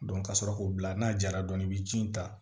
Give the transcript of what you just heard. ka sɔrɔ k'o bila n'a jara dɔɔnin i bɛ ji in ta